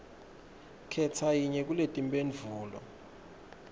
khetsa yinye kuletimphendvulo